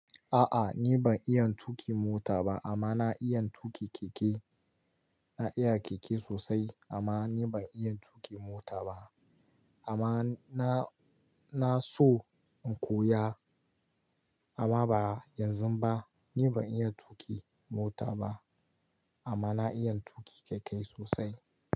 A'a ni ban iya tuƙi mota ba amma na iyan tuƙi keke. Na iya keke sosai amma ni ban iya tuƙi mota ba. Amma na, na so in koya amma ba yanzu ba. Ni ban iya tuƙi mota ba amma na iya tuƙi keke sosai.